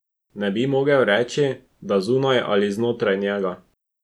Ne bi mogel reči, da zunaj ali znotraj njega.